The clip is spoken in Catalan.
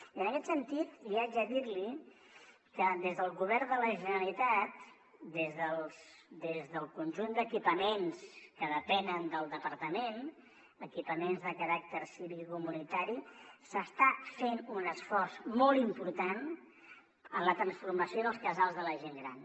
i en aquest sentit haig de dir li que des del govern de la generalitat des del conjunt d’equipaments que depenen del departament equipaments de caràcter civicocomunitari s’està fent un esforç molt important en la transformació dels casals de la gent gran